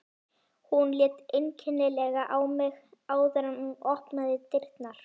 Hún leit einkennilega á mig áður en hún opnaði dyrnar.